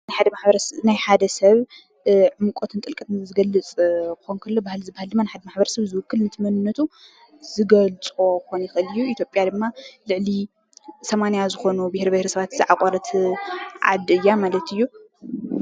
ናይ ሓደ ሰብ ዕምቆትን ጥልቀትን ዝገልፅ ክኸውን ከሎ ፤ባህሊ ማለት ድማ ሓደ ማሕበረሰብ ዝውክል ነቲ መንነቱ ዝገልፆ ክኾን ይክእል እዩ። ኢትዮጵያ ድማ ልዕሊ 80 ዝኾኑ ቢሄር ቢሄረሰባት ዝዓቆረት ዓዲ እያ ማለት እዩ።